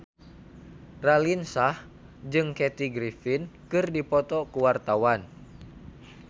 Raline Shah jeung Kathy Griffin keur dipoto ku wartawan